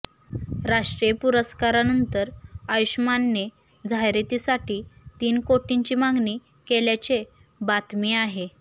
राष्ट्रीय पुरस्कारानंतर आयुष्मानने जाहिरातीसाठी तीन कोटींची मागणी केल्याचे बातमी आहे